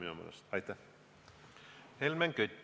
Helmen Kütt, palun!